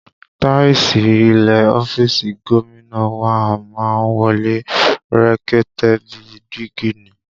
Táìsì ilẹ̀ ọ́fíìsì gómìnà wa má ń mọ́lẹ̀ rekete bíi dígí ni